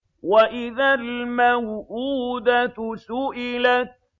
وَإِذَا الْمَوْءُودَةُ سُئِلَتْ